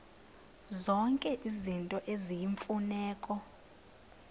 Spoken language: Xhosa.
zonke izinto eziyimfuneko